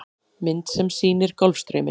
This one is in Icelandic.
Mynd sem sýnir Golfstrauminn.